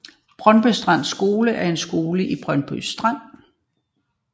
Brøndby Strand Skole er skolen i Brøndby Strand